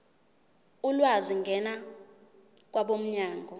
ulwazi ngena kwabomnyango